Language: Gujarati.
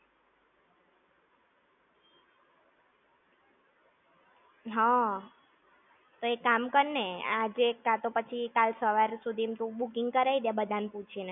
હા. તો એક કામ કરને, આજે કાંતો પછી કાલે સવારસુધી માં તું booking કરાઈ દે બધા ને પૂછી ને.